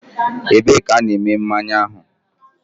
Ebee ka ha na-eme mmanya ahụ?